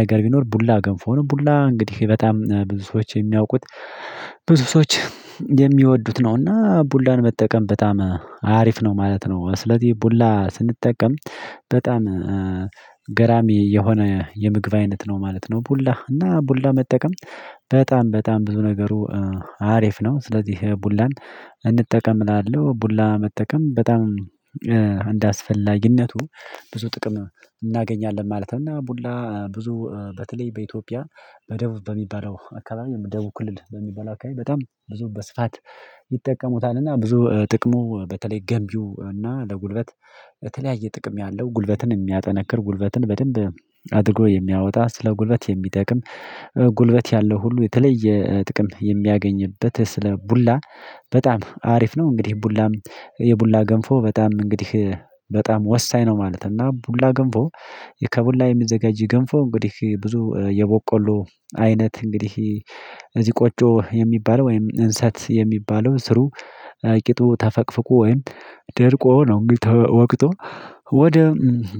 ነገር ቢኖር ቡላ ገንፎ ነው። ቡላ እንግዲህ በጣም ብዙ ሰዎች የሚያውቁት ብዙ ሰዎች የሚወዱት ነው። እና ቡላን መጠቀም በጣም አሪፍ ነው ማለት ነው። ስለዚህ ቡላ ስንጠቀም በጣም ገራሚ የሆነ የምግብ አይነት ነው ማለት ነው። ቡላ እና ቡላ መጠቀም በጣም በጣም ብዙ ነገሩ አሪፍ ነው። ስለዚህ ቡላን እንጠቀም እላለሁ ቡላ መጠቀም በጣም እንዳ አስፈላጊነቱ ብዙ ጥቅም እናገኛለን ማለት ነው። እና ቡላ ብዙ በተለይ በኢትዮጵያ በደቡብ በሚባለው አካባቢ ደቡብ ክልል በሚበላ አካባቢ በጣም ብዙ በስፋት ይጠቀሙታልና። ብዙ ጥቅሙ በተለይ ገንቢው እና ለጉልበት በተለያየ ጥቅም ያለው ጉልበትን የሚያጠነክር ጉልበትን በደንብ አድርጎ የሚያወጣ ስለ ጉልበት የሚጠቅም ጉልበት ያለው ሁሉ የተለየ ጥቅም የሚያገኝበት ስለ ቡላ በጣም አሪፍ ነው። እንግዲህ ቡላም የቡላ ገንፎ በጣም እንግዲህ በጣም ወሳኝ ነው። ማለት እና ቡላ ግንፎ ከቡላ የሚዘጋጅ ግንፎ እንግዲህ ብዙ የቦቆሎ አይነት እንግዲህ እዚህ ቆጮ የሚባለው ወይም እንሰት የሚባለው ስሩ ቂጡ ተፈቅፍቆ ወይም ደርቆ ነው እንግዲህ ተወቅጦ ወደ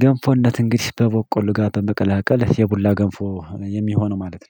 ገንፎነት እንግዲህ በበቆሉ ጋር በመቀላቀል የቡላ ገንፎ የሚሆነው ማለት ነው